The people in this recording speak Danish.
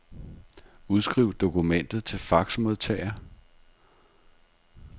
Udskriv dokumentet til faxmodtager.